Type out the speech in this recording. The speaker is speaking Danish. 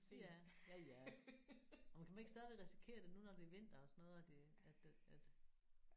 Ja. Ja ja jo men kan man ikke stadigvæk risikere det nu når det er vinter og sådan noget at det at den at